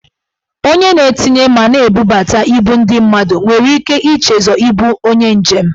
Onye na-etinye ma na-ebubuta ibu ndị mmadụ nwere ike ichezọ ibu onye njem.